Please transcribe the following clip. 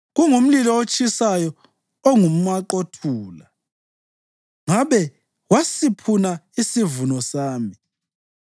Kungumlilo otshisayo onguMaqothula; ngabe kwasiphuna isivuno sami.